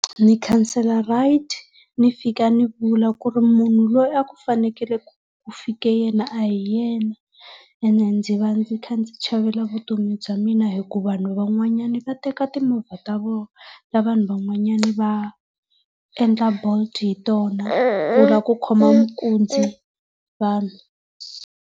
Ni khansela ride, ni fika ni vula ku ri munhu loyi a ku fanekele ku fike yena a hi yena ene ndzi va ndzi kha ndzi chavela vutomi bya mina hi ku vanhu van'wanyana na teka timovha ta ta vanhu van'wanyana va endla Bolt hi tona ku lava ku khoma minkunzi vanhu.